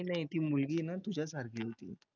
नाही नाही ती मुलगी ना तुझ्यासारखी होती.